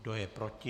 Kdo je proti?